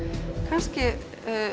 kannski